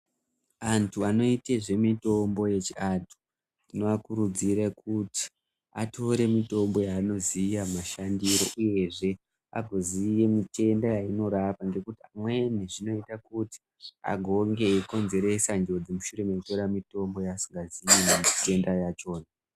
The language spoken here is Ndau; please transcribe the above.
Antu anoite nezvimitombo yechiantu vanokurudzirwe kuti vatore mitombo yaanoziya mashandiro uyezve aziye zvitenda zvaiinorapa ngekuti amweni agonge eikonzeresa njodzi askazivi zvitenda zvachona .